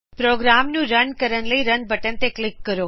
programme ਨੂੰ run ਕਰਨ ਲਈ ਰਨ ਬਟਨ ਤੇ ਕਲਿਕ ਕਰੋ